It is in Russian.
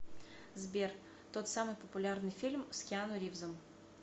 сбер тот самый популярный фильм с киану ривзом